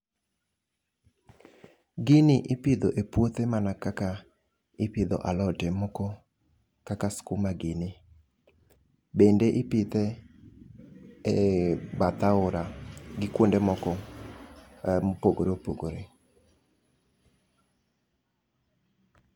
Gini ipidho e puothe mana kaka ipidho alode moko kaka skuma gini, bende ipidhe e bath aora gi kuonde moko mopogore opogore.